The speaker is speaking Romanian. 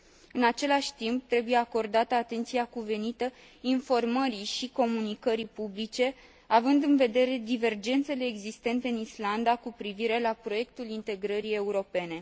În același timp, trebuie acordată atenția cuvenită informării și comunicării publice, având în vedere divergențele existente în Islanda cu privire la proiectul integrării europene.